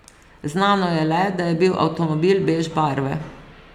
Znano je le, da je bil avtomobil bež barve.